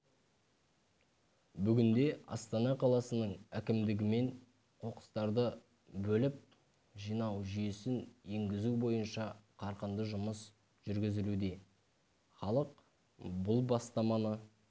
бүгінде астана қаласының әкімдігімен қоқыстарды бөліп жинау жүйесін енгізу бойынша қарқынды жұмыс жүргізілуде халық бұл бастаманы